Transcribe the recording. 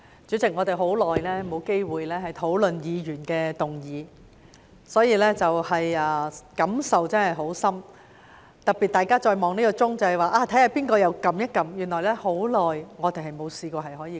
主席，我們很久已沒有機會討論議員議案，我可謂感受殊深，特別是大家看着有誰按下這個"要求發言"按鈕，原來我們已經很久沒試過這樣。